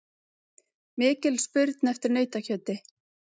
Mikil spurn eftir nautakjöti